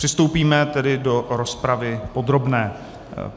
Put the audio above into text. Přistoupíme tedy k rozpravě podobné.